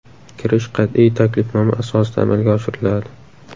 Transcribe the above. Kirish qat’iy taklifnoma asosida amalga oshiriladi.